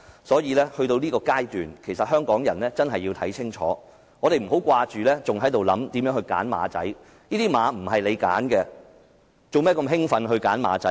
所以，來到這個階段，其實香港人真要看清楚，我們不要只想着如何"揀馬仔"，這些馬並非由你們挑選，何必如此興奮"揀馬仔"？